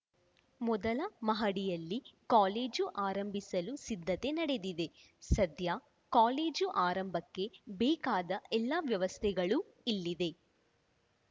ಮೊದಲ ಮಹಡಿಯಲ್ಲಿ ಕಾಲೇಜು ಆರಂಭಿಸಲು ಸಿದ್ಧತೆ ನಡೆದಿದೆ ಸದ್ಯ ಕಾಲೇಜು ಆರಂಭಕ್ಕೆ ಬೇಕಾದ ಎಲ್ಲ ವ್ಯವಸ್ಥೆಗಳೂ ಇಲ್ಲಿದೆ